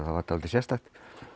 var dálítið sérstakt